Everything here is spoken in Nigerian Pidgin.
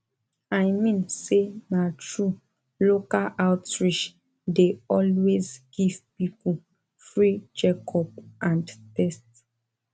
i mean say na true local outreach dey always give people free checkup and test